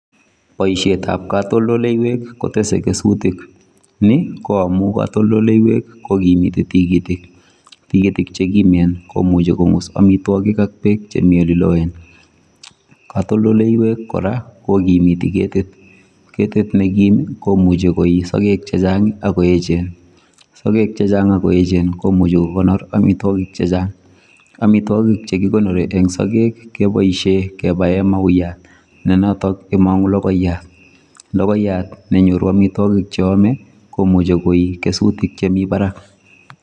Boishetap katoldoleiwek kotese kesutik. Ni ko amu katoldoleiwek kokimiti tikitik. Tikitik chekimen komuchi kong'us amitwokik ak beek chemi oliloen. Katoldoleiwek kora kokimiti ketit. Ketit nekim komuchi koi sogek chechang akoechen. Sogek chechang akoechen komuchi kokonor amitwokik chechang. Amitwokik chekikonori eng sogek keboishe kebae mauiyat ne notok neimong'u logoiyat. Logoiyat nenyoru amitwokik cheome komuchi koi kesutik chemi barak.